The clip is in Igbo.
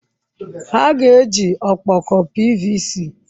Ha ga-eji ọkpọkọ PVC?